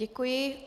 Děkuji.